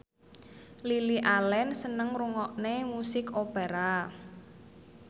Lily Allen seneng ngrungokne musik opera